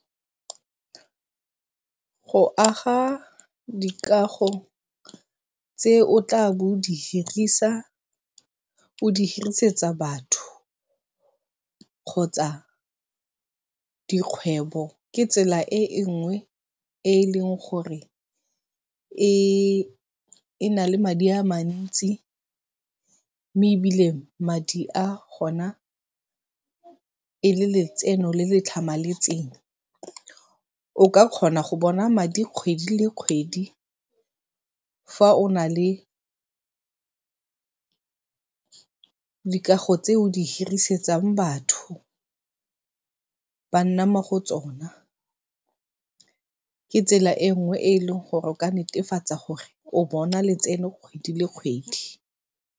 Go aga dikago tse o tla bo o di hirisa, o di hirisetsa batho kgotsa dikgwebo ke tsela e nngwe e e leng gore e e na le madi a mantsi mme ebile madi a gona e le letseno le le tlhamaletseng. O ka kgona go bona madi kgwedi le kgwedi. Fa o na le dikago tse o di hirisetsang batho, ba nna mo go tsona, ke tsela e nngwe e e leng gore o ka netefatsa gore o bona letseno kgwedi le kgwedi.